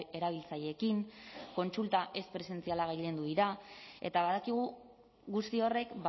erabiltzaileekin kontsulta ez presentzialak gailendu dira eta badakigu guzti horrek